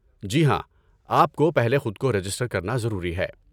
جی ہاں، آپ کو پہلے خود کو رجسٹر کرنا ضروری ہے۔